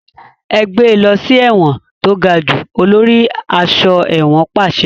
Ẹ gbé lọ sí ẹ̀wọ̀n to gajù! Olórí aṣọ́ ẹ̀wọ̀n pàṣẹ.